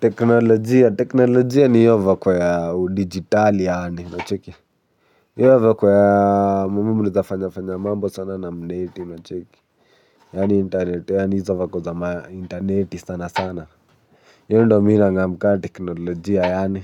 Teknolojia. Teknolojia ni hiyo vako ya udijitali yaani, unacheki. Hiyo vako ya, unaweza fanya fanya mambo sana na mneti unacheki. Yaani internet, yaani hizo vako za mainterneti sana sana. Hiyo ndo mi nang'am ka teknolojia yaani.